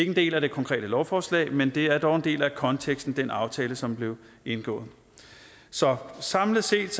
en del af det konkrete lovforslag men det er dog en del af konteksten i den aftale som blev indgået så samlet set